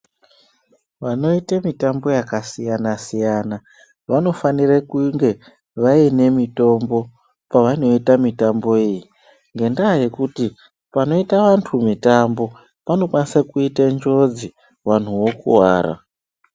Vanoite mitambo yakasiyana-siyana vanofanire kunge vaine mitombo pavanoita mitambo iyi, ngendaa yekuti panoita antu mitambo, panokwanise kuite njodzi, vanhu vokuwara.